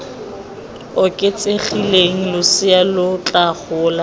oketsegileng losea lo tla gola